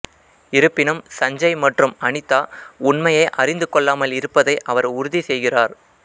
இருப்பினும் சஞ்சய் மற்றும் அனிதா உண்மையை அறிந்து கொள்ளாமல் இருப்பதை அவர் உறுதி செய்கிறார்